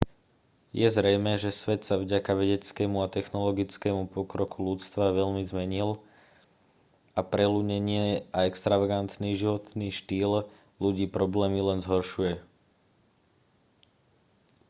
je zrejmé že svet sa vďaka vedeckému a technologickému pokroku ľudstva veľmi zmenil a preľudnenie a extravagantný životný štýl ľudí problémy len zhoršuje